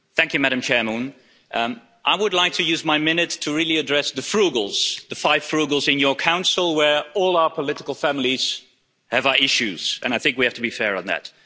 Madam President, I would like to use my minute to really address the Frugals', the five Frugals in your Council where all our political families have our issues, and I think we have to be fair on that.